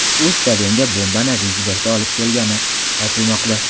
U stadionga bombani ryukzakda olib kelgani aytilmoqda.